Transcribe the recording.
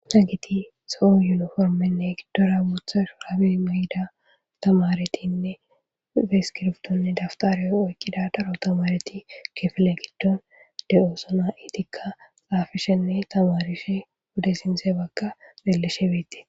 Hagethi zo7o yuniformenne giddora bootha shuraabi may7ida thamarethinne iskiribthonne dafthare oykkiqida daro thamarethi kefile giddon de7oosona; ethika xaafishenne thamarishe wode sinththe bagga beleshe beeththes.